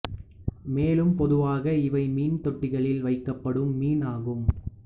மேலும் பொதுவாக இவை மீன் தொட்டிகளில் வைக்கப்படும் மீன் ஆகும்